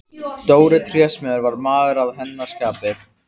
Dóri trésmiður var maður að hennar skapi.